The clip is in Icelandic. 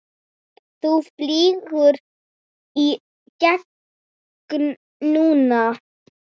Þú flýgur í gegn núna!